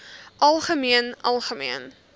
algemeen algemeen